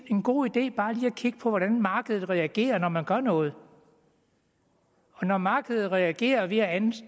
en god idé bare lige at kigge på hvordan markedet reagerer når man gør noget og når markedet reagerer ved at